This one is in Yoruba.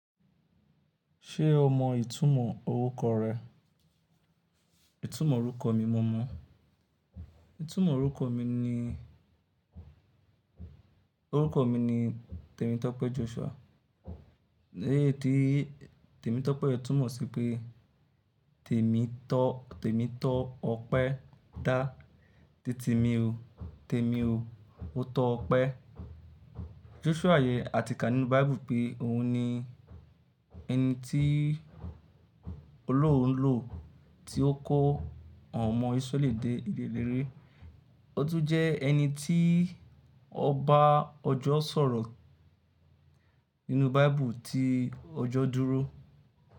Ṣé o mọ ìtumọ̀ orúkọ rẹ? Ìtumọ̀ orúkọ mi mo mọ̀. Ìtumọ̀ orúkọ mi ni, orúkọ mi ni Tèmi Tọ́pẹ́ Joshua. Léè tí Tèmi Tọ́pẹ́ yii túmọ̀ sí pé Tèmi tọ́, Tèmi tọ́ ọpẹ́ dá. Tí Tèmi o, Tèmi o, ó tọ́ ọpẹ́. Joshua yè àtíkà nínú Bíble pé òun ni ẹni tí Olórun lò tí ó kó àwọn ọmọ Ísráẹ́lì dé ilẹ̀ lérè. Ó tún jẹ́ ẹni tí ọba ọjọ́ sọ̀rọ̀ nínú Bíble tí ọjọ́ dúró.